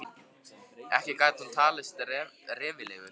Ekki gat hann nú talist reffilegur.